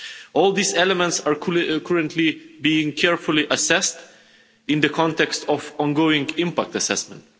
All these elements are currently being carefully assessed in the context of the ongoing impact assessment.